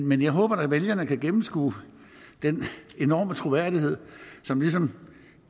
men jeg håber da at vælgerne kan gennemskue den enorme troværdighed som ligesom